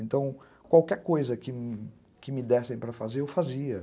Então, qualquer coisa que me que me dessem para fazer, eu fazia.